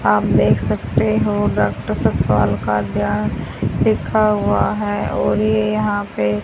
आप देख सकते हो डॉक्टर सस्पाल का ध्यान लिखा हुआ है और ये यहां पे--